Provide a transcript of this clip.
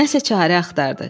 Nəsə çarə axtardı.